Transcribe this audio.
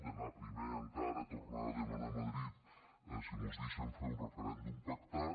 d’anar primer encara a tornar a demanar a madrid si mos deixen fer un referèndum pactat